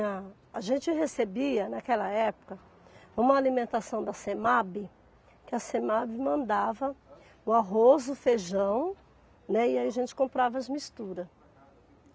A gente recebia, naquela época, uma alimentação da Semabe, que a Semabe mandava o arroz, o feijão, né, e aí a gente comprava as misturas.